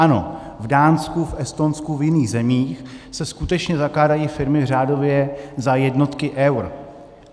Ano, v Dánsku, v Estonsku, v jiných zemích se skutečně zakládají firmy řádově za jednotky eur.